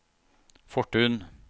Fortun